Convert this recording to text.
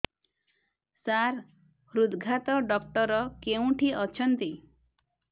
ସାର ହୃଦଘାତ ଡକ୍ଟର କେଉଁଠି ଅଛନ୍ତି